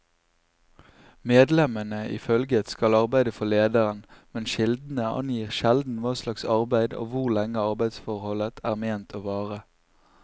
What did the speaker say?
Medlemmene i følget skal arbeide for lederen, men kildene angir sjelden hva slags arbeid og hvor lenge arbeidsforholdet er ment å vare.